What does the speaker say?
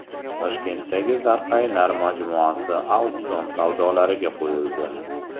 Toshkentdagi Zarqaynar majmuasi auksion savdolariga qo‘yildi .